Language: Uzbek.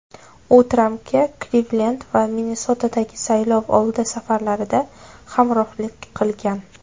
U Trampga Klivlend va Minnesotadagi saylovoldi safarlarida hamrohlik qilgan.